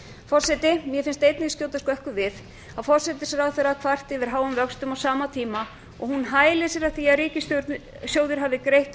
forseti mér finnst einnig skjóta skökku við að forsætisráðherra kvarti yfir háum vöxtum á sama tíma og hún hælir sér af því að ríkissjóður hafi greitt